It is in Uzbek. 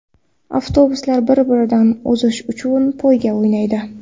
Avtobuslar bir-biridan o‘zish uchun poyga o‘ynaydi.